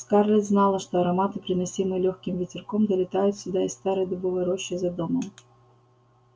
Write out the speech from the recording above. скарлетт знала что ароматы приносимые лёгким ветерком долетают сюда из старой дубовой рощи за домом